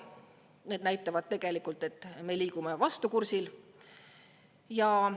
Need näitavad tegelikult, et me liigume vastupidisel kursil.